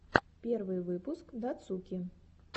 первый выпуск дацуки